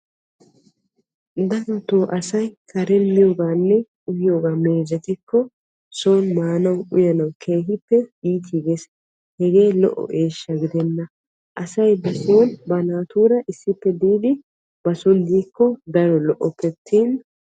Darotto karen uyiyoganne miyooga meezettikko son maanage iittigees, hegee lo'o eeshsha gidenna. Asay ba son ba naatura miikkonne uyikko lo'oppe attin.